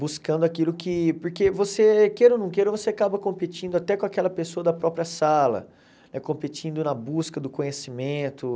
buscando aquilo que... Porque você, queira ou não queira, você acaba competindo até com aquela pessoa da própria sala, competindo na busca do conhecimento.